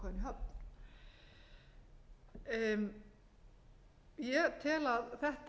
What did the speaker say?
að ná íslenska ákvæðinu í höfn ég tel að þetta